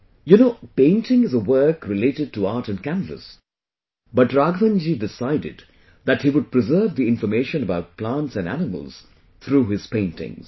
You know, painting is a work related to art and canvas, but Raghavan ji decided that he would preserve the information about plants and animals through his paintings